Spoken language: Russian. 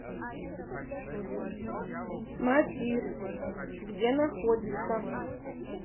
матисс где находится